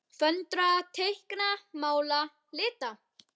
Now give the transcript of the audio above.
Föndra- teikna- mála- lita